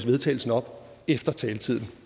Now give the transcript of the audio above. vedtagelse op efter at taletiden